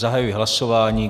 Zahajuji hlasování.